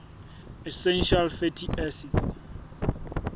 essential fatty acids